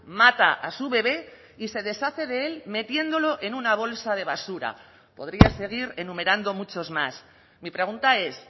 mata a su bebé y se deshace de él metiéndolo en una bolsa de basura podría seguir enumerando muchos más mi pregunta es